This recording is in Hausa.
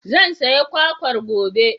Zan saya kwakwar gobe.